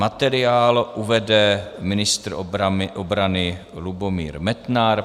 Materiál uvede ministr obrany Lubomír Metnar.